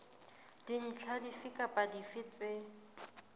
dintlha dife kapa dife tse